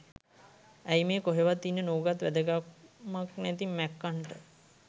ඇයි මේ කොහෙවත් ඉන්න නූගත් වැදගැම්මක් නැති මැක්කන්ට